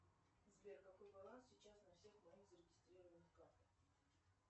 сбер какой баланс сейчас на всех моих зарегистрированных картах